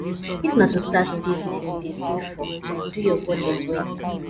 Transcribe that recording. if na to start business you dey save for do your budget well